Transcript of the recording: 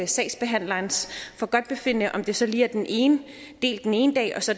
sagsbehandlerens forgodtbefindende om det så lige er den ene del den ene dag og så